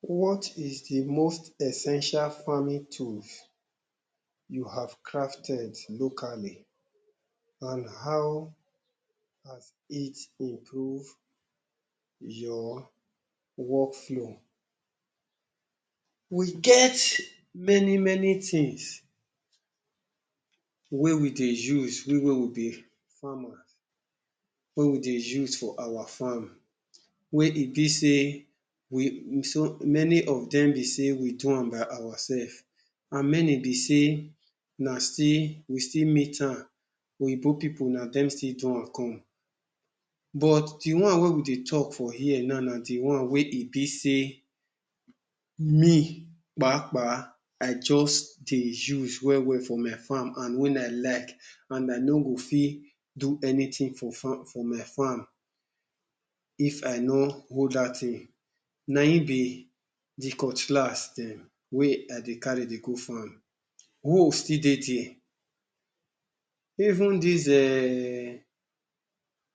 what is the most essential farming tools you have crafted locally and how has it improve your workflow we get many-many things wey we dey use we wey be farmer wey we dey use for our farm wey e be sey many of dem be sey we do am by ourself and many be sey na still we still meet am oyibo people na dem still do am come but the one wey we dey talk for here now na the one wey e be sey me, um i just dey use well for my farm and when i like and i no go fit do anything for my farm if i no hold dat thing nayin be the cutlass dem wey i dey carry dey go farm hoe still dey dia even dis um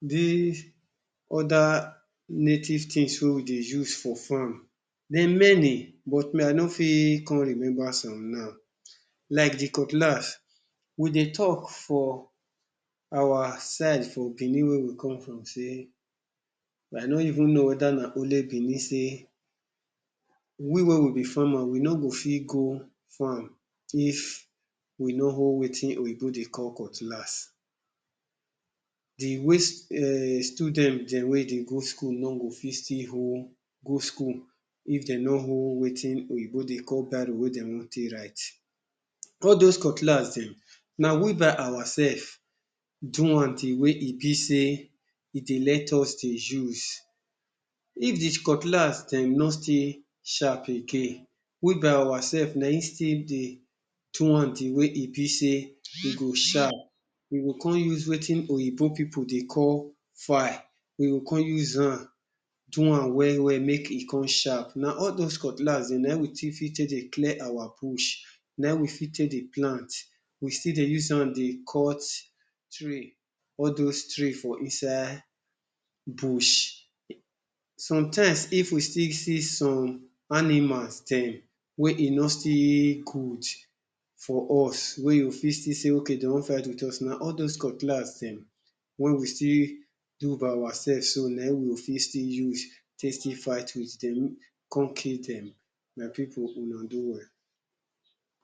dis other native thing wey we dey use for farm dem many but me i no fit come remember some now like the cutlass we dey talk for our side for Benin wey we come from sey i no even know weda na only Benin sey we wey be farmer we no fit go farm if we no hold wetin oyibo dey call cutlass the wey um student dem wey dey go school no go fit still hold go school if de no hold wetin oyibo dey call biro wey dey wan take write all those cutlass dem na we by ourself do am the wey e be sey e dey let us dey use if the cutlass de no still sharp again, we by ourself nayin still dey do am the wey e be sey e go sharp we go come use wetin oyibo people dey call file we go come uzam dowam we-we make e come sharp, na all those cutlass dem nayin we take fit take dey clear our bush, nayin we fit take dey plant we still dey uzam dey cut tree all those tree for inside bush sometimes if we still see some animals dem wey e not stil good for us wey you go still fit see sey dey want fight with us, na all those cutlass dem wey we still do by ourself so nayin we go fit still use take still fight with dem come kill dem, my people una do well